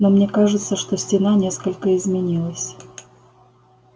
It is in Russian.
но мне кажется что стена несколько изменилась